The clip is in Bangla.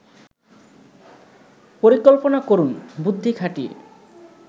পরিকল্পনা করুন বুদ্ধি খাটিয়ে